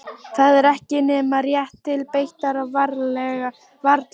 Það var ekki nema rétt til beitar og varla það.